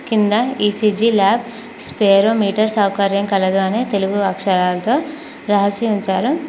కింద E C G lab spirometer సౌకర్యం కలదు అనే తెలుగు అక్షరాలతో రాసి ఉంచారు.